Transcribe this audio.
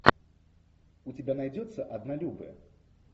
у тебя найдется однолюбы